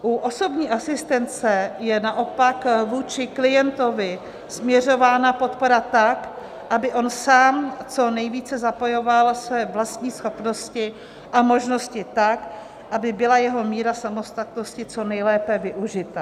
U osobní asistence je naopak vůči klientovi směřována podpora tak, aby on sám co nejvíce zapojoval své vlastní schopnosti a možnosti tak, aby byla jeho míra samostatnosti co nejlépe využita.